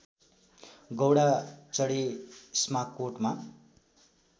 गौँडा चढी इस्माकोटमा